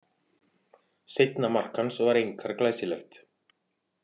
Seinna mark hans var einkar glæsilegt.